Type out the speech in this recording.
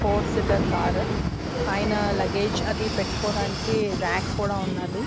four seater car పైనా luggage అది పెటుకోడానికి రాక్ కూడా ఉన్నాది